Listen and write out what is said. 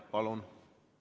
Palun!